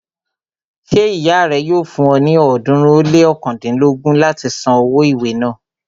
Ṣé ìyá rẹ yóò fún ọ ní ọ̀ọ́dúnrún ó lé ọ̀kándínlógún láti san owó ìwé náà